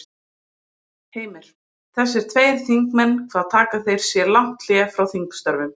Heimir: Þessir tveir þingmenn hvað taka þeir sér lang hlé frá þingstörfum?